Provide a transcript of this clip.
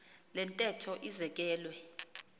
le ntetho izekelwe